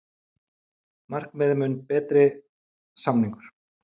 Markmiðið mun betri samningur